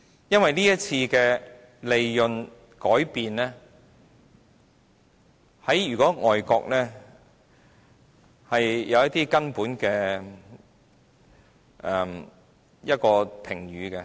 由於這次稅務上的改變，在外國是有些根本的評語。